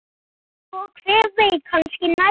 Svo hver veit, kannski næst?